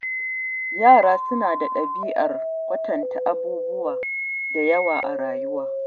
Yara suna da ɗabi'ar kwatanta abubuwa da yawa a rayuwa.